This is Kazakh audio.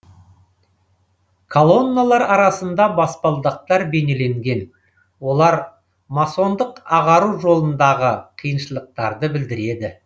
колонналар арасында баспалдақтар бейнеленген олар масондық ағару жолындағы қиыншылықтарды білдіреді